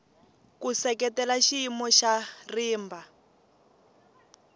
ku seketela xiyimo xa rimba